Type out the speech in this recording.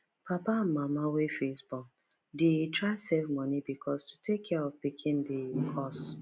papa and mama wey first born dey try save money because to take care of pikin dey cost